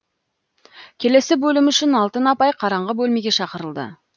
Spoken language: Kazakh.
келесі бөлім үшін алтын апай қараңғы бөлмеге шақырылды